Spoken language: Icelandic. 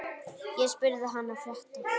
Ég spurði hana frétta.